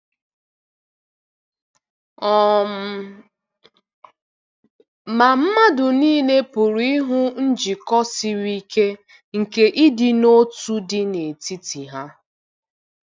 um Ma mmadụ nile pụrụ ịhụ njikọ siri ike nke ịdị n'otu dị n'etiti ha.